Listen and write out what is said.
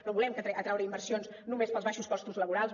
no volem atreure inversions només pels baixos costos laborals